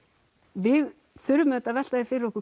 við þurfum auðvitað að velta því fyrir okkur